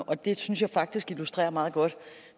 og det synes jeg faktisk illustrerer meget godt